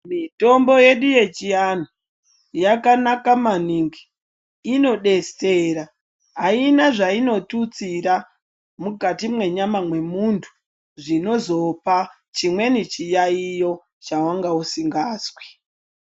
Mitombo yedu yechianhu, yakanaka maningi, inodetsera, ayina zvayinotutsira mukati mwenyama mwemuntu, zvinozopa chimweni chiyayiyo chawanga usingazwi.